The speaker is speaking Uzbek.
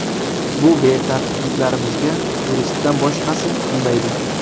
Bu betartibliklarimizga turistdan boshqasi kulmaydi.